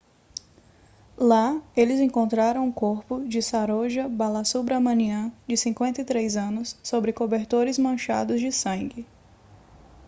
lá eles encontraram o corpo de saroja balasubramanian de 53 anos sob cobertores manchados de sangue